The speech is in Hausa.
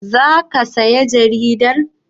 Za ka saya jaridar?